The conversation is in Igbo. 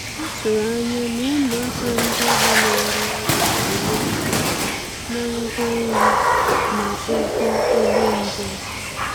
A tụ̀rụ̀ ànyà na ụmụàkà ndí ahụ̀ na-arụ́ ọrụ gā-ényè aka na ngwá nri na ụ̀gwọ̀ ùgbò njem.